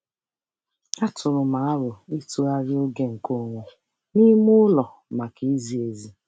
Atụụrụ m aro ịtụgharị oge nke onwe n'ime ụlọ maka izi ezi.